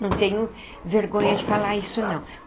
Não tenho vergonha de falar isso, não.